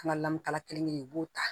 An ka lamun kala kelen kelen u b'o ta